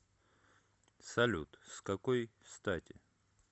салют с какой стати